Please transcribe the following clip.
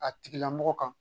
A tigilamɔgɔ kan